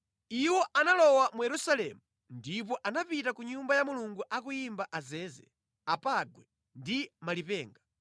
Iwo analowa mu Yerusalemu ndipo anapita ku Nyumba ya Mulungu akuyimba azeze, apangwe ndi malipenga.